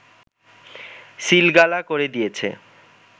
সিলগালা করে দিয়েছে